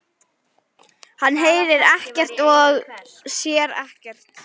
Hann heyrir ekkert og sér ekkert.